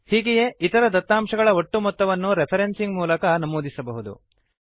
ಹೀಗೆಯೇ ಇತರ ದತ್ತಾಂಶಗಳ ಒಟ್ಟು ಮೊತ್ತವನ್ನು ರೆಫ್ರೆನ್ಸಿಂಗ್ ಮೂಲಕ ನಮೂದಿಸಬಹುದು